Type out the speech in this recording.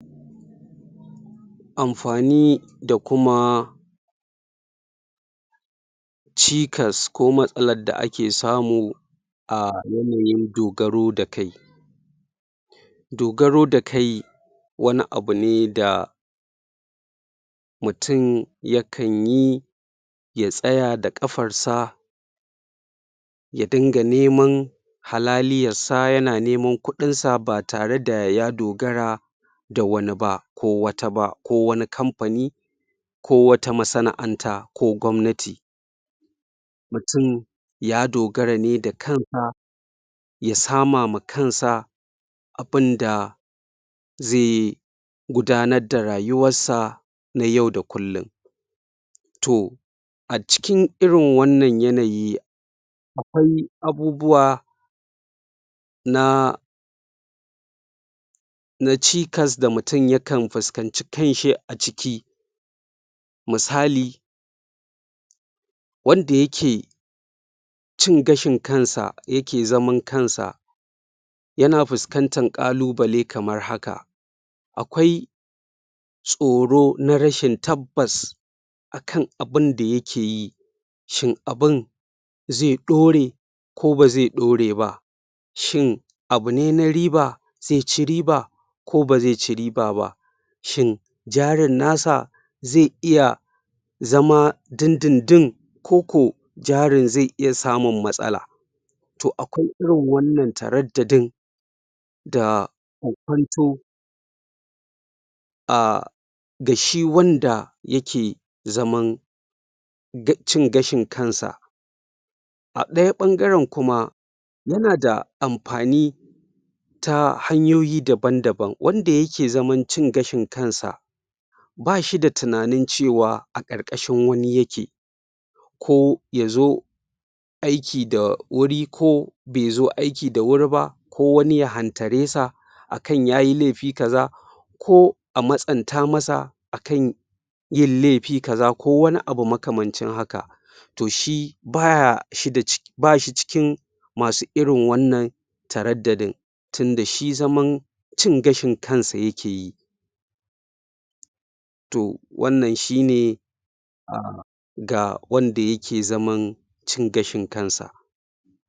Amfani da kuma cikas ko matsalar da ake samu a yanayin dogaro da kai dogaro da kai wani abune da mutum ya kanyi ya tsaya da ƙafansa ya dunga neman halaliyarsa yana neman kuɗi ɗin sa ba tare da ya dogara da wani ba ko wata ba ko wani kamfani ko wata masana'anta ko gwamnati mutum ya dogara ne da kansa ya sama ma kansa abunda zai gudanar da rayuwar sa na yau da kullum toh a cikin irin wannan yanayi akwai abubuwa na na cikas da mutun yakan fuskanci kanshi a ciki musali wanda yake cin gashin kansa yake zaman kansa yana fuskantar ƙalubale kamar haka akwai tsoro na rashin tabbas akan abunda yake yi shin abun zai ɗore ko ba zai ɗore ba shin abune na riba zai ci riba ko bazai ci riba ba shin jarin nasa zai iya zama din din din ko koh jarin zai iya samun matsala toh akwai irin wannan taraddadin da ko fanto a ga shi wanda yake zaman ga cin gashin kansa a ɗaya bangaren kuma yana da amfani ta hanyoyi daban-daban wanda yake zaman cin gashin kansa ba shi da tunanin cewa a ƙarƙashin wani yake ko yazo aiki da wuri ko bai zo aiki da wuri ba ko wani ya hantare sa akan yayi laifi ka za ko a matsanta masa akan yin laifi ka za ko wani abu makamancin haka toh shi baa shi da bashi cikin masu irin wannan taraddadin tunda shi zaman cin gashin kansa yake yi toh wannan shi ne ga wanda yake zaman cin gashin kansa